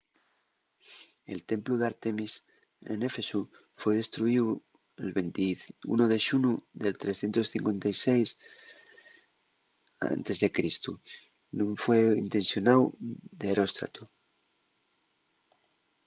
el templu d'ártemis n'éfesu foi destruyíu'l 21 de xunu del 356 e.c. nun fueu intencionáu d'eróstrato